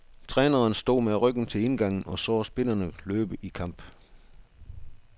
Træneren stod med ryggen til indgangen og så spillerne løbe i kamp.